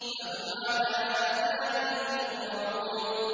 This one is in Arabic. فَهُمْ عَلَىٰ آثَارِهِمْ يُهْرَعُونَ